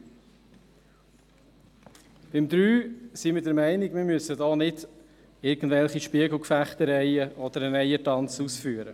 Bei Punkt 3 sind wir der Meinung, wir müssten nicht irgendwelche Spiegelfechtereien ausfechten oder einen Eiertanz vollführen.